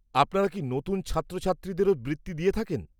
আপনারা কি নতুন ছাত্রছাত্রীদেরও বৃত্তি দিয়ে থাকেন?